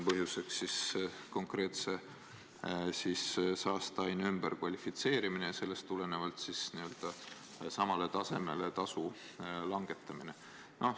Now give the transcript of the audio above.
Põhjuseks on konkreetse saasteaine ümberkvalifitseerimine ja sellest tulenevalt saastetasu langetamine.